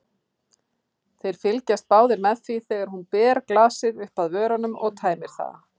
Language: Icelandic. Þeir fylgjast báðir með því þegar hún ber glasið upp að vörunum og tæmir það.